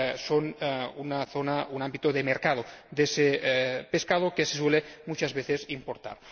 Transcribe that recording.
son una zona, un ámbito de mercado de ese pescado que se suele muchas veces importar.